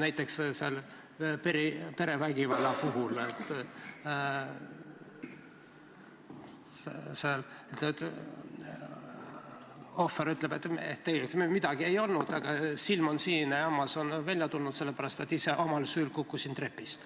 Näiteks perevägivalla puhul ohver ütleb, et midagi ei olnud, aga endal on silm sinine ja hammas välja tulnud – ta kinnitab, ise omal süül kukkus trepist